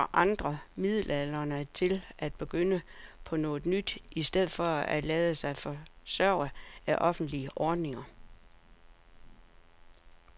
Han opfordrer andre midaldrende til at begynde på noget nyt i stedet for at lade sig forsørge af offentlige ordninger.